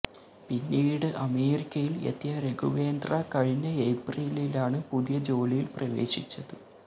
പിന്നീട് അമേരിക്കയില് എത്തിയ രഘുവേന്ദ്ര കഴിഞ്ഞ ഏപ്രിലിലാണ് പുതിയ ജോലിയില് പ്രവേശിച്ചത്